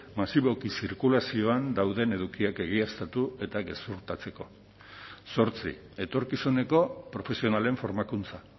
masiboki zirkulazioan dauden edukiak egiaztatu eta gezurtatzeko zortzi etorkizuneko profesionalen formakuntza